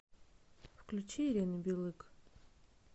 включи ирину билык